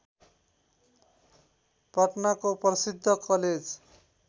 पटनाको प्रसिद्ध कलेज